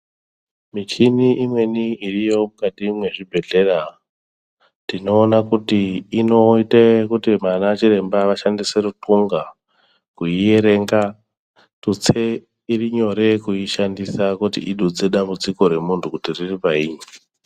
Michini imweni irimo Mukati mezvibhedhlera tinoona kuti inoita kuti anachiremba vashandise rukunxa veierenga tutse iri nyore kushandisa kuti idutse dambudziko remuntu kuti riri painyi.